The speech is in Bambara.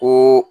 Ko